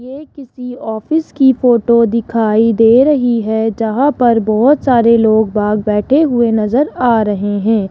ये किसी ऑफिस की फोटो दिखाई दे रही है जहां पर बहोत सारे लोग बाहर बैठे हुए नजर आ रहे है।